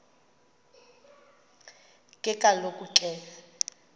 ke kaloku ke